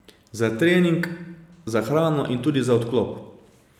Za trening, za hrano in tudi za odklop.